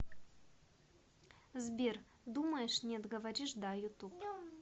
сбер думаешь нет говоришь да ютуб